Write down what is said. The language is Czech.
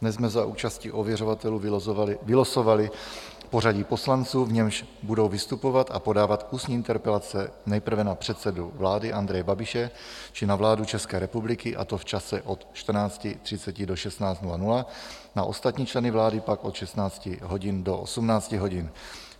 Dnes jsme za účasti ověřovatelů vylosovali pořadí poslanců, v němž budou vystupovat a podávat ústní interpelace nejprve na předsedu vlády Andreje Babiše či na vládu České republiky, a to v čase od 14.30 do 16.00, na ostatní členy vlády pak od 16 hodin do 18 hodin.